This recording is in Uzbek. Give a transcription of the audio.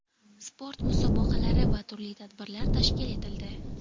sport musobaqalari va turli tadbirlar tashkil etildi.